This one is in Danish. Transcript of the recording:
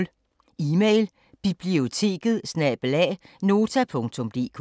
Email: biblioteket@nota.dk